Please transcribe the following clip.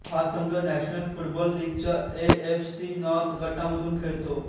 हा संघ national football लीगच्या ए एफ सी नॉर्थ गटामधून खेळतो